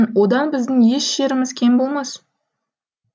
одан біздің еш жеріміз кем болмас